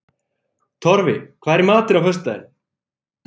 Torfi, hvað er í matinn á föstudaginn?